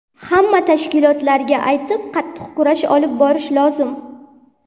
Hamma tashkilotlarga aytib, qattiq kurash olib borish lozim.